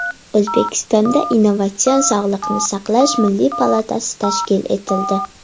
O‘zbekistonda Innovatsion sog‘liqni saqlash milliy palatasi tashkil etildi.